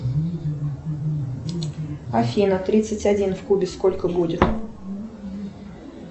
афина тридцать один в кубе сколько будет